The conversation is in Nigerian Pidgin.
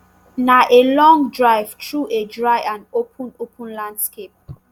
na a long drive through a dry and open open landscape